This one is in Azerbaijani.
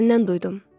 Gözlərindən duydum.